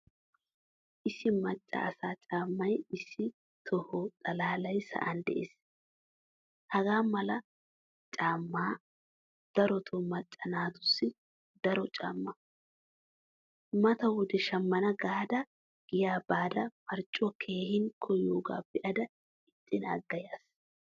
Issi macca asaa caamay issi tohuwaa xalaly sa'an de'ees. Hagaamala caamay daroto macca naatusi doro caama. Mata wode shammana gaada giyaa baada marccuwaa keehin koyoga beada iitin agada yaas.